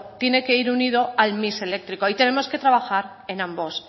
tiene que ir unido al mix eléctrico y tenemos que trabajar en ambos